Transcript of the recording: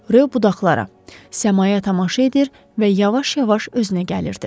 Rö budaqlara, səmaya tamaşa edir və yavaş-yavaş özünə gəlirdi.